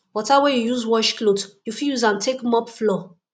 water wey yu use wash cloth yu fit use am take mop floor